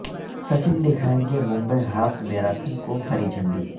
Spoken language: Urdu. سچن دکھائیں گے ممبئی ہاف میراتھن کو ہری جھنڈی